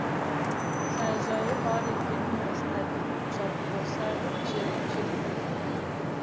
саяжайы бар екенін растайтын құжаты болса жеткілікті